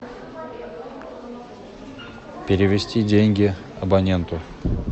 перевести деньги абоненту